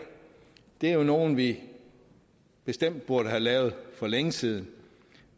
er jo nogle vi bestemt burde have lavet for længe siden